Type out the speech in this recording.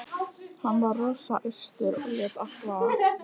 Hann var rosa æstur og lét allt vaða.